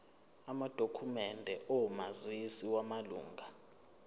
amadokhumende omazisi wamalunga